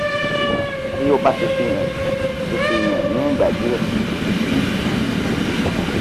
ti o ba ti fi han ti fi han ni igba diẹ titi di isisiyi